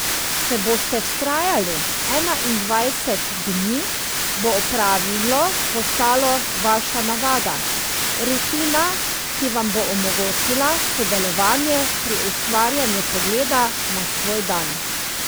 Če boste vztrajali enaindvajset dni, bo opravilo postalo vaša navada, rutina, ki vam bo omogočila sodelovanje pri ustvarjanju pogleda na svoj dan.